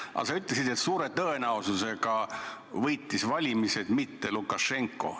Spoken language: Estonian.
Aga sa ütlesid, et suure tõenäosusega võitis valimised mitte Lukašenka.